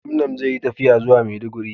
Gamnom zai Yi tafiya zuwa maiduguri